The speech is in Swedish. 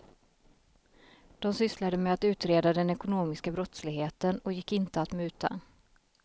De sysslade med att utreda den ekonomiska brottsligheten och gick inte att muta.